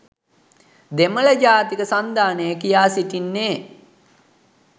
දෙමළ ජාතික සන්ධානය කියා සිටින්නේ